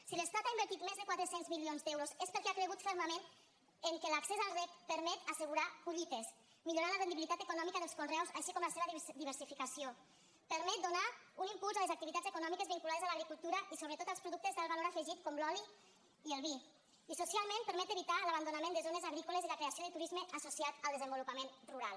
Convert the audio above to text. si l’estat ha invertit més de quatre cents milions d’euros és perquè ha cregut fermament que l’accés al reg permet assegurar collites millorar la rendibilitat econòmica dels conreus així com la seva diversificació permet donar un impuls a les activitats econòmiques vinculades a l’agricultura i sobretot als productes d’alt valor afegit com l’oli i el vi i socialment permet evitar l’abandonament de zones agrícoles i la creació de turisme associat al desenvolupament rural